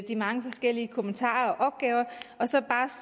de mange forskellige kommentarer og opgaver og så bare